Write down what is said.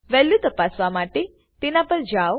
value તપાસવા માટે તેના પર જાવ